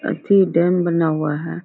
अथी डैम बना हुआ है।